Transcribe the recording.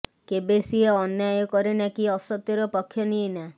କେବେ ସିଏ ଅନ୍ୟାୟ କରେନା କି ଅସତ୍ୟର ପକ୍ଷ ନିଏନା